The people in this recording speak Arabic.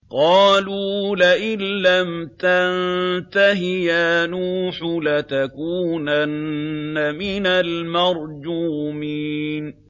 قَالُوا لَئِن لَّمْ تَنتَهِ يَا نُوحُ لَتَكُونَنَّ مِنَ الْمَرْجُومِينَ